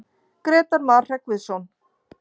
Grétar Mar Hreggviðsson.